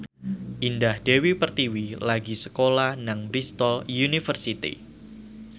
Indah Dewi Pertiwi lagi sekolah nang Bristol university